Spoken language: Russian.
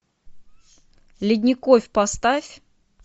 ледников поставь